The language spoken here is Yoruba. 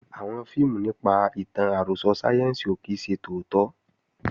Àwọn fíìmù nípa ìtàn àròsọ sáyẹ́ǹsì ò kí ń ṣe tòótọ́